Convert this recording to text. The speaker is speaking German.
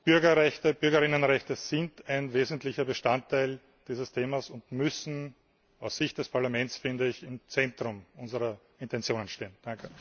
Bürgerrechte, Bürgerinnenrechte sind ein wesentlicher Bestandteil dieses Themas und müssen aus Sicht des Parlaments im Zentrum unserer Intentionen stehen.